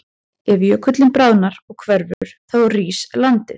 Ef jökullinn bráðnar og hverfur þá rís landið.